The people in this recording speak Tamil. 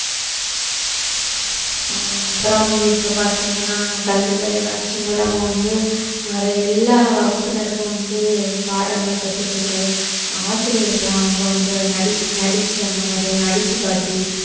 ஆமா அப்புறம் வந்து இப்ப பார்த்தீங்கன்னா கல்வி தொலைக்காட்சி மூலமா வந்து நிறை~ எல்லா வகுப்பினருக்கும் வந்து பாடங்கள் கற்றுக் கொடுக்கிறது ஆசிரியருக்கெல்லாம் அவங்க வந்து நடி~ நடிச்சு அந்த மாதிரி எல்லாம் நடிச்சு காட்டி